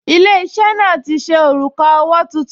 Ilé-iṣẹ́ náà ti ṣe òrùka owó tuntun